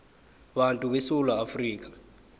bantu besewula afrika